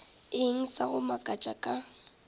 eng sa go makatša ka